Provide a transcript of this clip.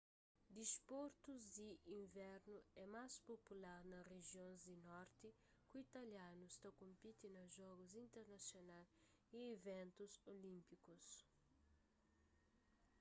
disportus di invernu é más popular na rijions di norti ku italianus ta konpiti na jogus internasional y iventus olínpikus